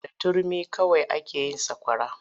Da da turmi kawai ake yin sakwara.